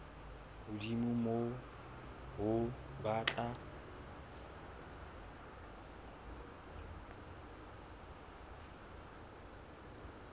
hodimo ho moo ba tla